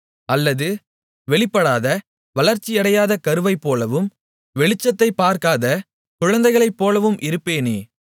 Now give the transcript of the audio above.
அல்லது வெளிப்படாத வளர்ச்சியடையாத கருவைப்போலவும் வெளிச்சத்தைப் பார்க்காத குழந்தைகளைப்போலவும் இருப்பேனே